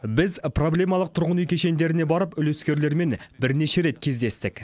біз проблемалық тұрғын үй кешендеріне барып үлескерлермен бірнеше рет кездестік